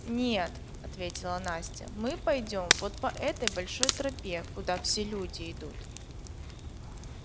нет ответила настя мы пойдём вот по этой большой тропе куда все люди идут